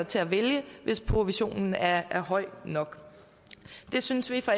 til at vælge hvis provisionen er høj nok det synes vi fra